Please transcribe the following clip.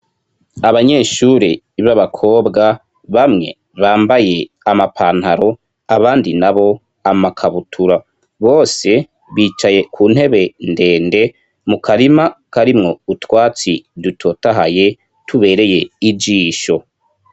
Abanyeshure b'abakobwa, bamwe bambaye amapantaro, abandi nabo amakabutura. Bose bicaye ku ntebe ndende mu karima karimwo utwatsi dutotahaye, tubereye ijisho.